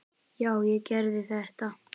Já, ég gerði þetta!